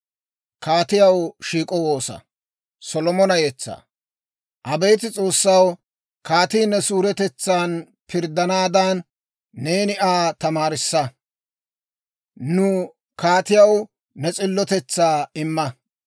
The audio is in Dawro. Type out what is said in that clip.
Abeet S'oossaw, kaatii ne suuretetsan pirddanaadan, neeni Aa tamaarissa; nu kaatiyaw ne s'illotetsaa imma.